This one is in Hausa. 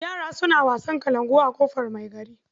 Yara suna wasan kalankuwa a ƙofar mai gari.